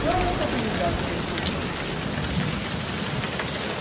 Se houve oportunidade de ele fugir, ele fugiu.